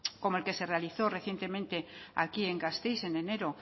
como el que se realizó recientemente aquí en gasteiz en enero